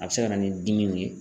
A bɛ se ka na ni dimiw ye.